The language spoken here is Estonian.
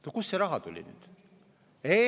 No kust see raha tuli nüüd?